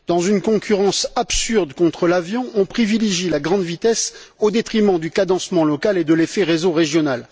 Dans une concurrence absurde contre l'avion, on privilégie la grande vitesse au détriment du cadencement local et de l'effet réseau régional.